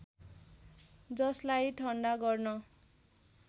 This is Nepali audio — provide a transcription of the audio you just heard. जसलाई ठन्डा गर्न